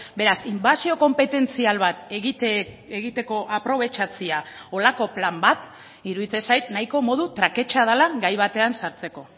beraz inbasio konpetentzial bat egiteko aprobetxatzea holako plan bat iruditzen zait nahiko modu traketsa dela gai batean sartzeko